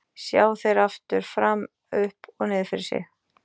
Sjá þeir aftur, fram, upp og niður fyrir sig?